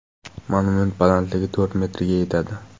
Monument balandligi to‘rt metrga yetadi.